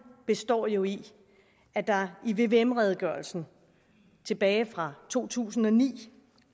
består jo i at der i vvm redegørelsen tilbage fra to tusind og ni